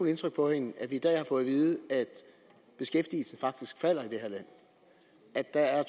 indtryk på hende at vi i dag har fået at vide at beskæftigelsen faktisk falder i det her land at der er